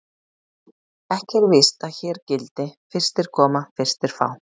Ekki er víst að hér gildi: Fyrstir koma, fyrstir fá.